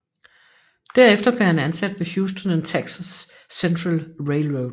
Derefter blev han ansat ved Houston and Texas Central Railroad